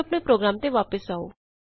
ਹੁਣ ਆਪਣੇ ਪ੍ਰੋਗਰਾਮ ਤੇ ਵਾਪਸ ਆਉ